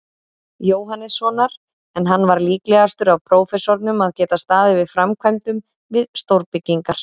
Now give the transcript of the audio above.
Jóhannessonar, en hann var líklegastur af prófessorunum að geta staðið að framkvæmdum við stórbyggingar.